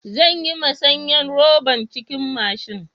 Zan yi masanyan roɓan cikin mashin.